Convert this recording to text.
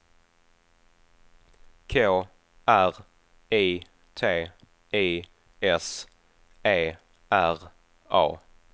K R I T I S E R A